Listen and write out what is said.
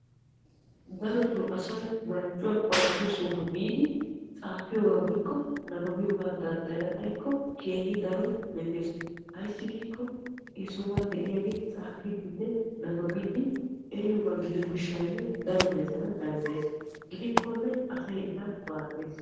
Darotoo asay marccuwaa qoaphphiyoo sohuwaa biidi xaafiyoogaa danddayana xayikko nababiyoogaa danddayana xaayikko keehi daro metes. ayssi giikko he sohuwaan de'iyaagee tsaafidinne nababiidi eriyooba gidiyoo giishshayoo daro metana dandayees. gidikkone asay eta maaddees.